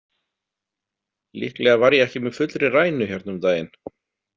Líklega var ég ekki með fullri rænu hérna um daginn.